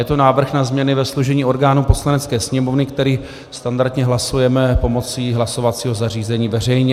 Je to návrh na změny ve složení orgánů Poslanecké sněmovny, který standardně hlasujeme pomocí hlasovacího zařízení veřejně.